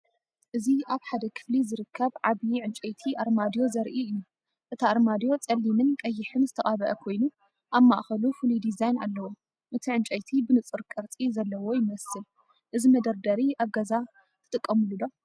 እዚ ኣብ ሓደ ክፍሊ ዝርከብ ዓቢ ዕንጨይቲ ኣርማድዮ ዘርኢ እዩ። እቲ ኣርማድዮ ጸሊምን ቀይሕን ዝተቐብአ ኮይኑ፡ ኣብ ማእከሉ ፍሉይ ዲዛይን ኣለዎ። እቲ ዕንጨይቲ ብንጹር ቅርጺ ዘለዎ ይመስል፤ እዚ መደርደሪ ኣብ ገዛኻ ትጥቀመሉ ዶ?